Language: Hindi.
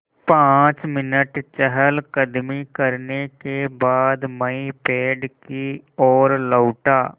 पाँच मिनट चहलकदमी करने के बाद मैं पेड़ की ओर लौटा